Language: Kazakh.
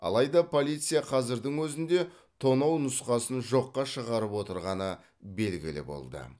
алайда полиция қазірдің өзінде тонау нұсқасын жоққа шығарып отырғаны белгілі болды